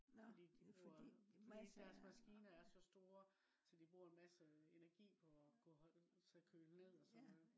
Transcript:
fordi de bruger fordi deres maskiner er så store så de bruger en masse energi på at kunne holde køle ned og sådan noget